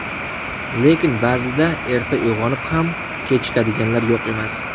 Lekin ba’zida erta uyg‘onib ham kechikadiganlar yo‘q emas.